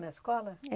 Na escola?